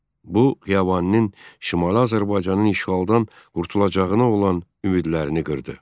Bu, Xiyabaninin Şimali Azərbaycanın işğaldan qurtulacağına olan ümidlərini qırdı.